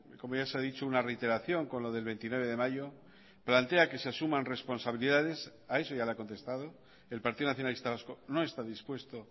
como ya se ha dicho una reiteración con lo del veintinueve de mayo plantea que se asuman responsabilidades a eso ya le ha contestado el partido nacionalista vasco no está dispuesto